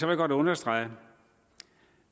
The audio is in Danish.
jeg godt understrege